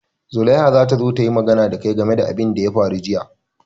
Zulaiha za ta zo ta yi magana da kai game da abin da ya faru jiya.